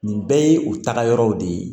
Nin bɛɛ ye u taga yɔrɔ de ye